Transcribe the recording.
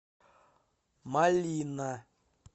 малина